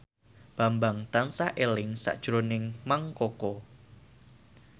Bambang tansah eling sakjroning Mang Koko